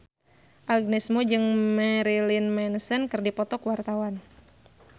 Agnes Mo jeung Marilyn Manson keur dipoto ku wartawan